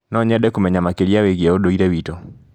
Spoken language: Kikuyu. No nyende kũmenya makĩria wĩgie ũndũire witũ.